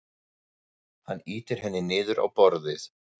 Hann ýtir henni niður á borðið.